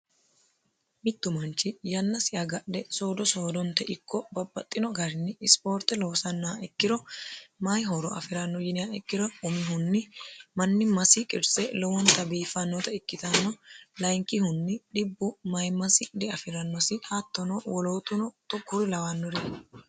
mittu manchi yannasi agadhe soodo soodonte ikko babbaxxino garini ispoorte loosannaa ikkiro mayihooro afi'ranno yinia ikkiro umihunni manni masi qirtse lowonta biifannota ikkitanno layinkihunni dhibbu mayi masi diafi'rannosi haattono wolootuno tokkuri lawannori